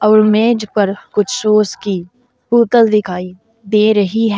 और मेज पर कुछ सॉस की बोतल दिखाई दे रही है।